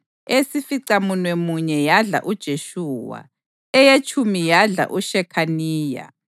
eyesificamunwemunye yadla uJeshuwa, eyetshumi yadla uShekhaniya,